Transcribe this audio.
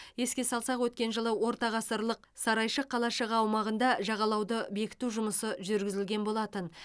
еске салсақ өткен жылы ортағасырлық сарайшық қалашығы аумағында жағалауды бекіту жұмысы жүргізілген болатын